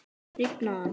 Rifnaði hann?